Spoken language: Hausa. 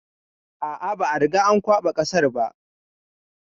A a, ba a riga an kwaɓa kasar ba.